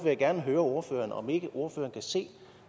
jeg gerne høre ordføreren om ikke ordføreren kan se